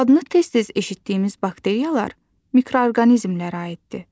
Adını tez-tez eşitdiyimiz bakteriyalar mikroorqanizmlərə aiddir.